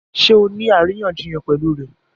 Ṣé ọ ní aríyànjiyàn pẹ̀lú rẹ̀?